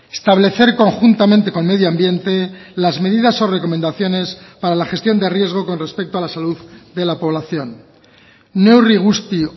establecer conjuntamente con medio ambiente las medidas o recomendaciones para la gestión de riesgo con respecto a la salud de la población neurri guzti